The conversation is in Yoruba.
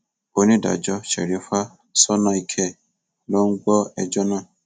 onídàájọ sherifa sọnàìkẹ ló ń gbọ ẹjọ náà